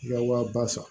I ka wa ba san